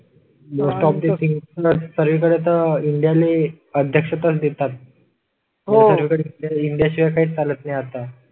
Best of the thing सगळीकडे वेळी India ले अध्यक्षास देतात. हो इंडिया शिवाय काही चालत नाही आता.